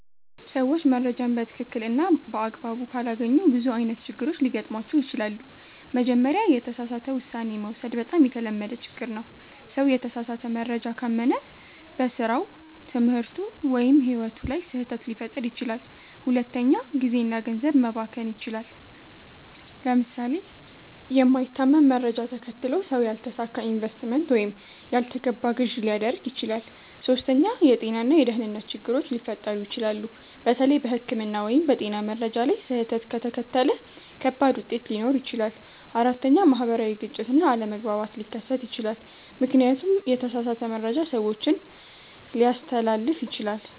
ሰዎች መረጃን በትክክል እና በአግባቡ ካላገኙ ብዙ አይነት ችግሮች ሊገጥሟቸው ይችላሉ። መጀመሪያ፣ የተሳሳተ ውሳኔ መውሰድ በጣም የተለመደ ችግር ነው። ሰው የተሳሳተ መረጃ ካመነ በስራው፣ ትምህርቱ ወይም ሕይወቱ ላይ ስህተት ሊፈጥር ይችላል። ሁለተኛ፣ ጊዜ እና ገንዘብ መባከን ይችላል። ለምሳሌ የማይታመን መረጃ ተከትሎ ሰው ያልተሳካ ኢንቨስትመንት ወይም ያልተገባ ግዢ ሊያደርግ ይችላል። ሶስተኛ፣ የጤና እና የደህንነት ችግሮች ሊፈጠሩ ይችላሉ። በተለይ በሕክምና ወይም በጤና መረጃ ላይ ስህተት ከተከተለ ከባድ ውጤት ሊኖር ይችላል። አራተኛ፣ ማህበራዊ ግጭት እና አለመግባባት ሊከሰት ይችላል፣ ምክንያቱም የተሳሳተ መረጃ ሰዎችን ሊያስተላልፍ ይችላል።